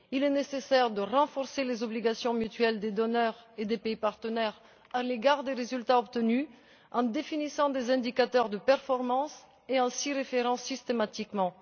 Il est nécessaire de renforcer les obligations mutuelles des donateurs et des pays partenaires à l'égard des résultats obtenus en définissant des indicateurs de performance et en s'y référant systématiquement.